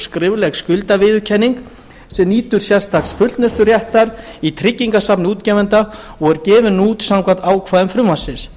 skrifleg skuldarviðurkenning sem nýtur sérstaks fullnusturéttar í tryggingasafni útgefanda og er gefin út samkvæmt ákvæðum frumvarpsins